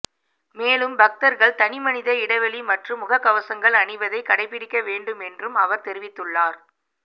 மேலும் பக்தர்கள் தனிமனித இடைவெளி மற்றும் முகக்கவசங்கள் அணிவதை கடைபிடிக்க வேண்டும் என்றும் அவர் தெரிவித்துள்ளார்